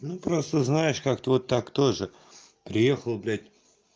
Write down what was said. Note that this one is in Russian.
ну просто знаешь как-то вот так тоже приехал блядь